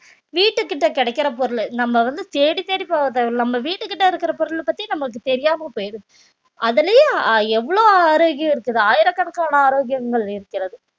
வீட்டு கிட்ட கிடைக்கிற பொருளு நம்ம வந்து தேடித்தேடி போக தேவையில்லை நம்ம வீட்டுக்கிட்ட இருக்கிற பொருள பத்தி நமக்கு தெரியாம போயிடுது அதுலயும் எவ்வளவு ஆரோக்கியம் இருக்குது ஆயிரக்கணக்கான ஆரோக்கியங்கள் இருக்கிறது